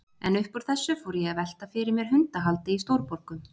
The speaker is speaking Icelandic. En upp úr þessu fór ég að velta fyrir mér hundahaldi í stórborgum.